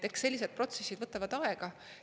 Eks sellised protsessid võtavad aega.